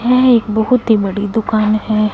यह एक बहोत ही बड़ी दुकान है।